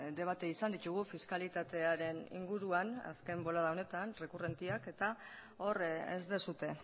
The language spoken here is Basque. debate izan ditugu fiskalitatearen inguruan azken bolada honetan errekurrenteak eta hor ez duzue